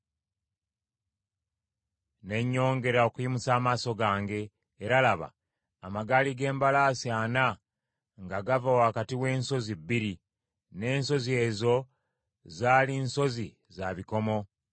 Ne nyongera okuyimusa amaaso gange, era laba, amagaali g’embalaasi ana nga gava wakati w’ensozi bbiri, n’ensozi ezo zaali nsozi za bikomo.